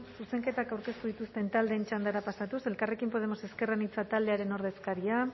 zuzenketak aurkeztu dituzten taldeen txandara pasatuz elkarrekin podemos ezker anitza taldearen ordezkaria